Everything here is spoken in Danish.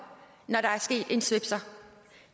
når der er sket en svipser